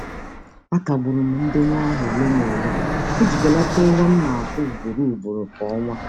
A kagbụrụ m ndenye aha ole na ole iji belata ụgwọ m na-akwụ ugboro ugboro kwa ọnwa.